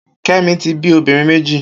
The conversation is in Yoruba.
Kemi ti bi óbìrín méji